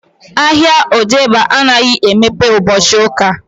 Ahịa odegba anaghị emeghe ụbọchị uka